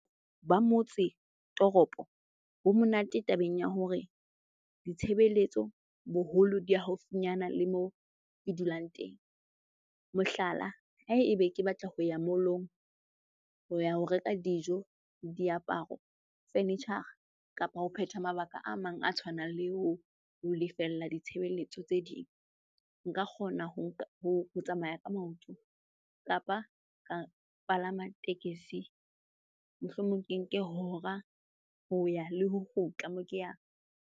Ba motse toropo bo monate tabeng ya hore ditshebeletso boholo di haufinyana le moo ke dulang teng. Mohlala, haebe ke batla ho ya mall-ong ho ya ho reka dijo, diaparo, furniture-a kapa ho phetha mabaka a mang a tshwanang le ho lefella ditshebeletso tse ding. Nka kgona ho tsamaya ka maoto kapa ka palama tekesi. Mohlomong ke nke hora ho ya le ho kgutla moo ke e yang.